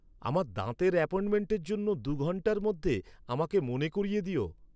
আমার দাঁতের অ্যাপয়েন্টমেন্টের জন্য দু'ঘন্টার মধ্যে আমাকে মনে করিয়ে দিও